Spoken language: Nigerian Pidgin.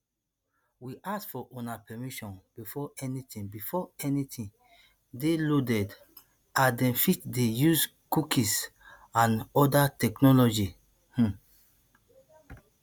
we ask for una permission before anytin before anytin dey loaded as dem fit dey use cookies and oda technologies um